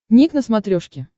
ник на смотрешке